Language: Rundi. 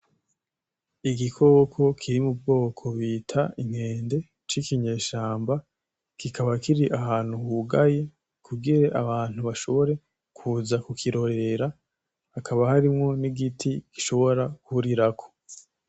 Igikoko kiri mubwoko bita inkende cikinyeshamba kikaba kiri ahantu hugaye kugira abantu bashobore kuza kukirorera hakaba harimwo nigiti gishobora kurirako.